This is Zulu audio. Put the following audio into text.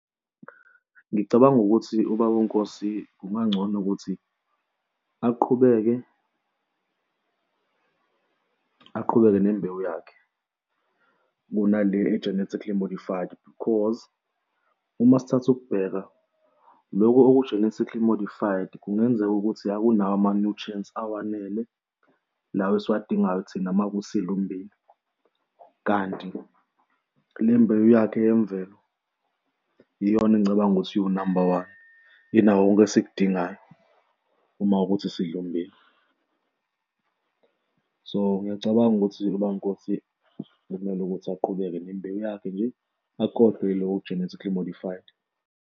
Ngicabanga ukuthi ubaba uNkosi kungangcono ukuthi aqhubeke, aqhubeke nembewu yakhe kunale e-generically modified, because uma sithatha ukubheka loku oku-genetically modified kungenzeka ukuthi akunawo ama-nutrients awanele lawa esiwadingayo thina mawukuthi sidlala ummbila. Kanti le mbewu yakhe yemvelo iyona engicabanga ukuthi iwunamba one, inako konke esikudingayo. Uma kuwukuthi sidlala ummbila. So, ngiyacabanga ukuthi ubaba uNkosi okumele ukuthi aqhubeke nembewu yakhe nje, akhohlwe iloyo genetically modified.